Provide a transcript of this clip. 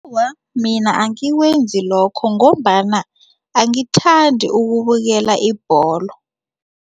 Awa, mina angikwenzi lokho ngombana angithandi ukubukela ibholo.